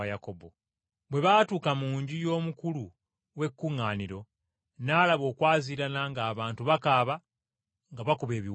Bwe baatuuka mu nju y’omukulu w’ekkuŋŋaaniro, n’alaba okwaziirana ng’abantu bakaaba nga bakuba ebiwoobe.